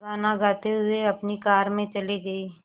गाना गाते हुए अपनी कार में चले गए